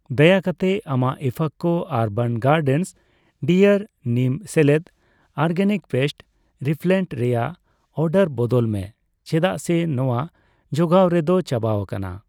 ᱫᱟᱭᱟ ᱠᱟᱛᱮ ᱟᱢᱟᱜ IFFCO urban gardens dear neem ᱥᱮᱞᱮᱫ ᱚᱨᱜᱮᱱᱤᱠ ᱯᱮᱥᱴ ᱨᱤᱯᱤᱞᱮᱱᱴ ᱨᱮᱭᱟᱜ ᱚᱨᱰᱟᱨ ᱵᱚᱫᱚᱞ ᱢᱮ ᱪᱮᱫᱟᱜ ᱥᱮ ᱱᱚᱣᱟ ᱡᱚᱜᱟᱣᱨᱮ ᱫᱚ ᱪᱟᱵᱟᱣᱟᱠᱟᱱᱟ ᱾